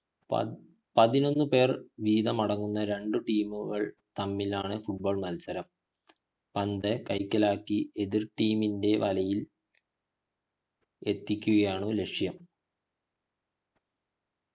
പതിനൊന്നു പേർ വീതമടങ്ങുന്ന രണ്ടു team തമ്മിലാണ് football മത്സരം പന്ത് കൈക്കലാക്കി എതിർ team ൻ്റെ വലയിൽ എത്തിക്കുകയാണ് ലക്ഷ്യം